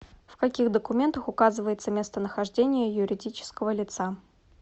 в каких документах указывается местонахождение юридического лица